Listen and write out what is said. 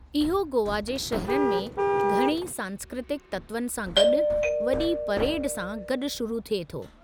इहो गोवा जे शहरनि में घणई सांस्कृतिक तत्वनि सां गॾु वॾी परेड सां गॾु शुरू थिए थो।